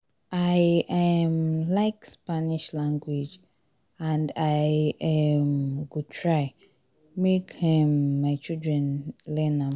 i um like spanish language and i um go try make um my children learn am